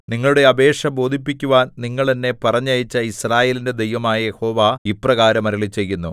നിങ്ങളുടെ അപേക്ഷ ബോധിപ്പിക്കുവാൻ നിങ്ങൾ എന്നെ പറഞ്ഞയച്ച യിസ്രായേലിന്റെ ദൈവമായ യഹോവ ഇപ്രകാരം അരുളിച്ചെയ്യുന്നു